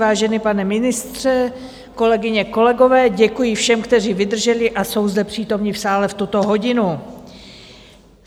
Vážený pane ministře, kolegyně, kolegové, děkuji všem, kteří vydrželi a jsou zde přítomni v sále v tuto hodinu.